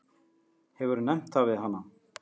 Hefurðu nefnt það við hana?